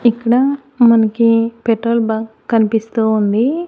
ఇక్కడ మనకి petrol bunk కనిపిస్తూ ఉంది.